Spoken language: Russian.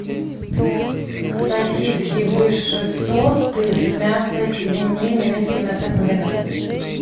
сосиски высший сорт из мяса свинины минский мясокомбинат